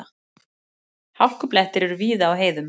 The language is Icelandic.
Hálkublettir eru víða á heiðum